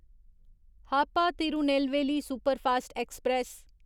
Hapa Tirunelveli superfast express